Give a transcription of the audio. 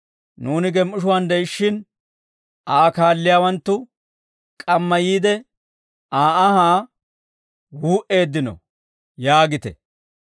« ‹Nuuni gem"ishuwaan de'ishshin Aa kaalliyaawanttu k'amma yiide, Aa anhaa wuu"eeddino› yaagite.